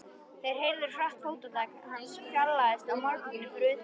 Þeir heyrðu hratt fótatak hans fjarlægjast á malbikinu fyrir utan.